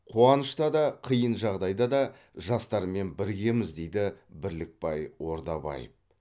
қуанышта да қиын жағдайда да жастармен біргеміз дейді бірлікбай ордабаев